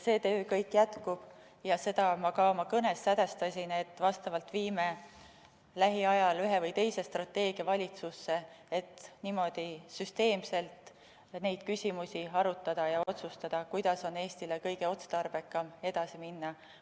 See töö kõik jätkub ja seda ma ka oma kõnes sedastasin, viime lähiajal ühe või teise strateegia valitsusse, et niimoodi süsteemselt neid küsimusi arutada ja otsustada, kuidas on Eestile kõige otstarbekam edasi minna.